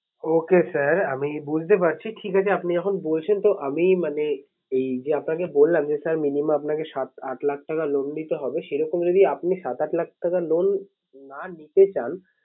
Okay sir আমি বুঝতে পারছি। ঠিক আছে আপনি যখন বলেছেন তো আমি মানে এই যে আপনাকে বললাম যে sir minimum আপনাকে সাত আট লাখ টাকা loan নিতে হবে। সেরকম যদি আপনি সাত আট লাখ টাকা loan না নিতে চান